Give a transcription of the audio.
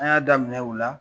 An y'a daminɛ u la